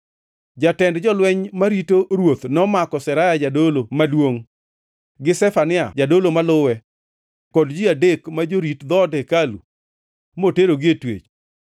Jatend jolweny marito ruoth nomako Seraya jadolo maduongʼ, gi Zefania jadolo maluwe kod ji adek ma jorit dhoot hekalu moterogi e twech.